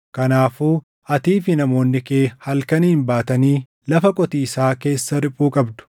Kanaafuu atii fi namoonni kee halkaniin baatanii lafa qotiisaa keessa riphuu qabdu.